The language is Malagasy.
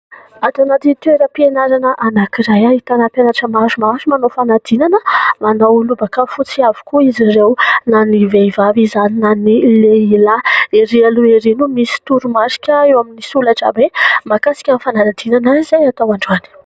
Ato anaty toeram-pianarana anankiray ahitana mpianatra maromaro manao fanadinana, manao lobaka fotsy avokoa izy ireo na ny vehivavy izany na ny lehilahy. Erỳ aloha erỳ no misy toromarika eo amin'ny solaitrabe mahakasika ny fanadinana izay atao androany.